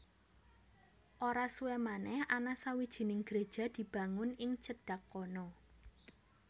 Ora suwé manèh ana sawijining gréja dibangun ing cedhak kono